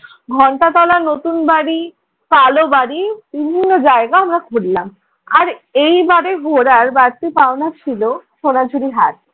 ঘণ্টাতলার নতুন বাড়ি, কালো বাড়ি বিভিন্ন জায়গা আমরা ঘুরলাম। আর এইবারের ঘু্রার বাড়তি পাওনা ছিল সোনাঝুড়ি হাট।